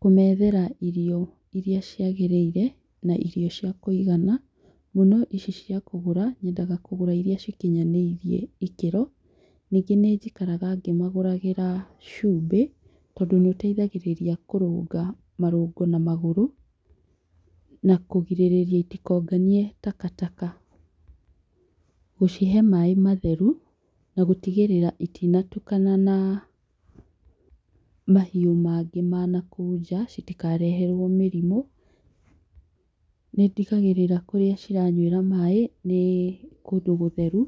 Kũmethera irio irĩa ciagĩrĩire na irio cĩa kũigana, mũno ici cia kũgũra nyendaga kũgũra iria cikinyanĩrie ikĩro, ningĩ nĩ jikaraga ngĩmagũrogĩra cumbĩ, tondũ nĩ ũteithagĩrĩria kũrũnga marũngo na magũrũ na kũgirĩrĩa itikonganie [takataka], gũcihe maaĩ matheru, na gũtigĩrĩra itinatukana na mahiũ mangĩ ma nakũu nja, citikareherwo mũrimũ, nĩ ndigagĩrĩra kũrĩa ciranywĩra maaĩ nĩ kũndũ gũtheru,